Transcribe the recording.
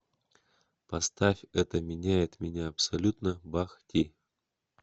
поставь это меняет меня абсолютно бах ти